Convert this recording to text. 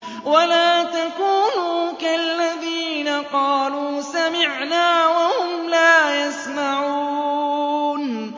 وَلَا تَكُونُوا كَالَّذِينَ قَالُوا سَمِعْنَا وَهُمْ لَا يَسْمَعُونَ